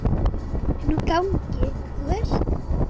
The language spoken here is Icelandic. Inni á gangi, þú veist.